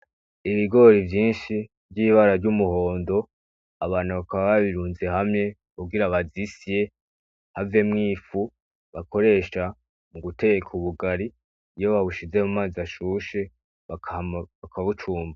Ibigori vyinshi ry'ibara ry'umuhondo, abantu bakaba babirunze hamwe kugira babisye havemwo ifu bakoresha mugutera ubugari ,iyo babushize mumazi ashushe hama baka bucumba.